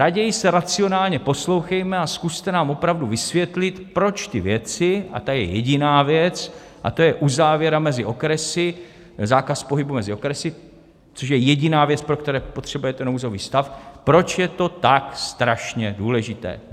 Raději se racionálně poslouchejme a zkuste nám opravdu vysvětlit, proč ty věci - a ta je jediná věc, a to je uzávěra mezi okresy, zákaz pohybu mezi okresy, což je jediná věc, pro kterou potřebujete nouzový stav - proč je to tak strašně důležité.